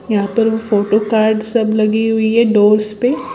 यहां पर photo card सब लगी हुई है डोर्स पे --